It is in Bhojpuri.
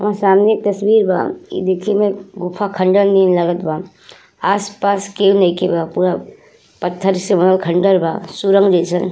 और सामने एक तस्वीर बा। देखि में गुफा खंडर नियर लगता बा। आस पास के केहू नइखे बा पूरा पत्थर से बनल खंडर बासुरंग जइसन।